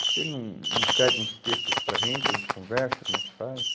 Você não, não cede uns textos para a gente, a gente conversa, como é que faz?